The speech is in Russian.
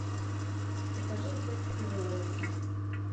покажи эффект кориолиса